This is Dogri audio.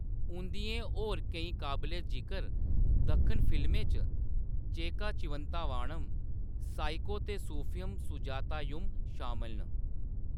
उंʼदियें होर केईं काबले-जिकर दक्खन फिल्में च चेक्का चिवंता वानम, साइको ते सूफीयम सुजातायुम शामल न।